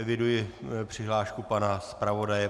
Eviduji přihlášku pana zpravodaje.